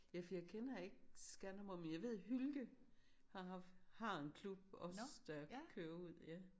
Ja for jeg kender ikke Skanderborg men jeg ved Hylke har haft har en klub også der kører ud